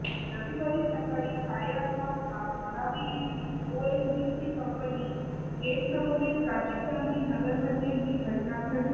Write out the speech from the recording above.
रविवारी सकाळी साडेआठ वाजता धारावी येथील ओएनजीसी कंपनी गेटसमोरील राजीव गांधी नगरमध्ये ही घटना घडली